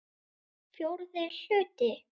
Fjórði hluti